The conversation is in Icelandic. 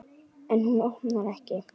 En hún opnar ekki.